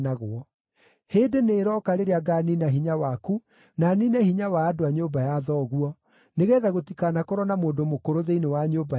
Hĩndĩ nĩĩroka rĩrĩa ngaaniina hinya waku na niine hinya wa andũ a nyũmba ya thoguo, nĩgeetha gũtikanakorwo na mũndũ mũkũrũ thĩinĩ wa nyũmba yaku,